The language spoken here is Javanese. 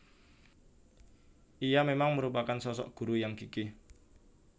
Ia memang merupakan sosok guru yang gigih